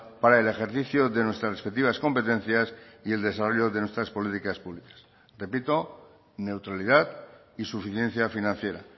para el ejercicio de nuestras respectivas competencias y el desarrollo de nuestras políticas públicas repito neutralidad y suficiencia financiera